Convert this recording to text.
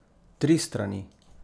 Tri strani?